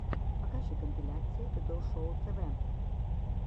покажи компиляции додо шоу тв